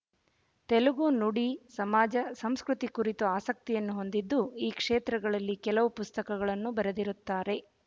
ತೆಲುಗು ನುಡಿ ಸಮಾಜ ಸಂಸ್ಕ್ರುತಿ ಕುರಿತು ಆಸಕ್ತಿಯನ್ನು ಹೊಂದಿದ್ದು ಈ ಕ್ಷೇತ್ರಗಳಲ್ಲಿ ಕೆಲವು ಪುಸ್ತಕಗಳನ್ನು ಬರೆದಿರುತ್ತಾರೆ